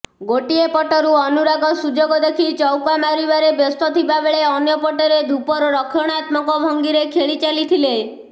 ଗୋଟିଏ ପଟରୁ ଅନୁରାଗ ସୁଯୋଗ ଦେଖି ଚୌକା ମାରିବାରେ ବ୍ୟସ୍ତ ଥିବାବେଳେ ଅନ୍ୟପଟରେ ଧୂପର ରକ୍ଷଣାତ୍ମକ ଭଙ୍ଗୀରେ ଖେଳିଚାଲିଥିଲେ